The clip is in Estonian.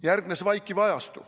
Järgnes vaikiv ajastu.